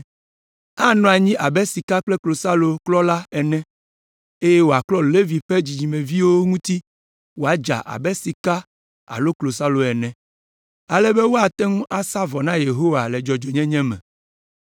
Anɔ anyi abe sika kple klosalo klɔla ene eye wòaklɔ Levi ƒe dzidzimeviwo ŋuti woadza abe sika alo klosalo ene, ale be woate ŋu asa vɔ na Yehowa le dzɔdzɔenyenye me.